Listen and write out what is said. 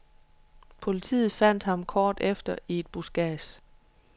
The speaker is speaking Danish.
Politiet fandt ham kort efter i et buskads.